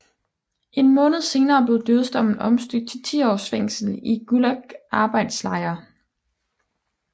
En måned senere blev dødsdommen omstødt til 10 års fængsel i gulagarbejdslejr